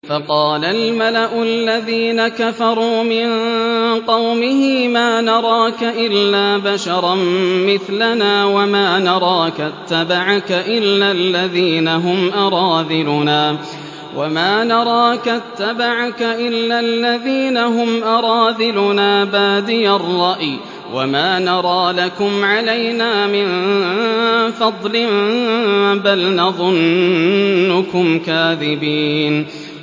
فَقَالَ الْمَلَأُ الَّذِينَ كَفَرُوا مِن قَوْمِهِ مَا نَرَاكَ إِلَّا بَشَرًا مِّثْلَنَا وَمَا نَرَاكَ اتَّبَعَكَ إِلَّا الَّذِينَ هُمْ أَرَاذِلُنَا بَادِيَ الرَّأْيِ وَمَا نَرَىٰ لَكُمْ عَلَيْنَا مِن فَضْلٍ بَلْ نَظُنُّكُمْ كَاذِبِينَ